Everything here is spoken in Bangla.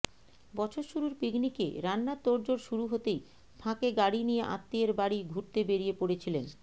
বছর শুরুর পিকনিকে রান্নার তোড়জোড় শুরু হতেই ফাঁকে গাড়ি নিয়ে আত্মীয়ের বাড়ি ঘুরতে বেরিয়ে পড়েছিলেন